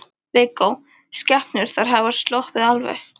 Viggó: Skepnur, þær hafa sloppið alveg?